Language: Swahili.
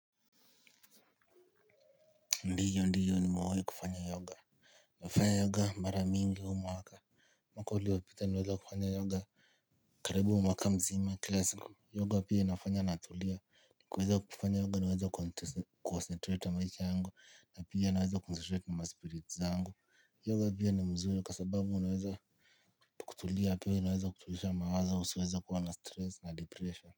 Ndiyo ndiyo nimewahi kufanya yoga nafanya yoga mara mingi huu mwaka mwaka uliopita niliweza kufanya yoga karibu mwaka mzima kiila siku yoga pia inafanya natulia kuweza kufanya yoga naweza concentrate na maisha yangu na pia naweza concentrate na maspirits zangu yoga pia ni mzuri kwa sababu unaweza kutulia pia unaweza kutuliza mawazo usiweze kuwa na stress na depression.